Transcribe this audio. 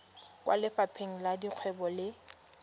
kwa lefapheng la dikgwebo le